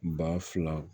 Ba fila